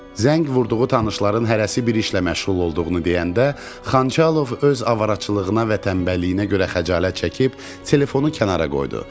Zəng vurduğu tanışların hərəsi bir işlə məşğul olduğunu deyəndə, Xançalov öz avaraçılığına və tənbəlliyinə görə xəcalət çəkib telefonu kənara qoydu.